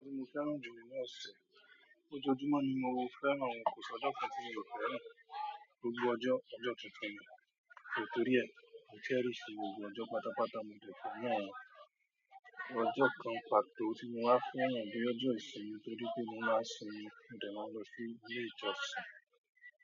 Ojo ti mo fẹ́ràn ju inú ọ̀sẹ̀? Ojoojúmọ́ ni mo fẹ́ràn, kò sì ọjọ́ kan tí mi ò fẹ́ran gbogbo ọjọ́ ọjọ́ tuntun mi, nítorí ẹ, mo te rí sì gbogbo ọjọ́ pátápátá mo ti fẹ́ràn. Ọjọ́ kan pàtó tí mo wá fẹ́ran ni ọjọ́ ìsinmi torí pé mo máa sinmi mo de máa nlọ sí ilé ìjọsìn.